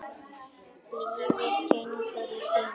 Lífið gengur í hringi.